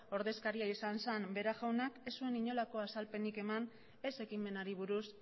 ordezkaria izan zan vera jaunak ez zuen inolako azalpenik eman ez ekimenari buruz